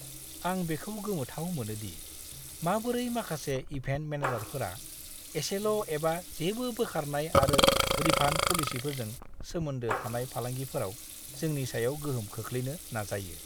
आं बेखौ गोमोथाव मोनो दि माबोरै माखासे इभेन्ट मेनेजारफोरा एसेल' एबा जेबो बोखारनाय आरो रिफान्ड पलिसिफोरजों सोमोन्दो थानाय फालांगिफोराव जोंनि सायाव गोहोम खोख्लैनो नाजायो!